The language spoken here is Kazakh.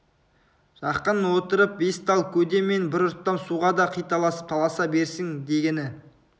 жақын отырып бес тал көде мен бір ұрттам суға да қиталасып таласа берсін дегені